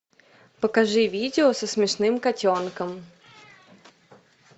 покажи видео со смешным котенком